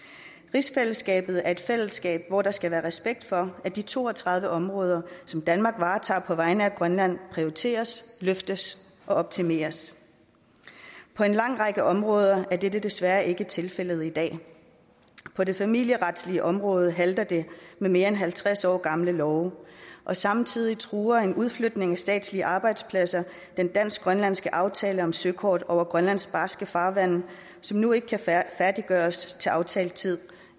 rigsfællesskabet er et fællesskab hvor der skal være respekt for at de to og tredive områder som danmark varetager på vegne af grønland prioriteres løftes og optimeres på en lang række områder er dette desværre ikke tilfældet i dag på det familieretlige område halter det med mere end halvtreds år gamle love og samtidig truer en udflytning af statslige arbejdspladser den dansk grønlandske aftale om søkort over grønlands barske farvande som nu ikke kan færdiggøres til aftalt tid